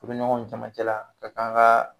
Furuɲɔgɔnw caman cɛla a kan ka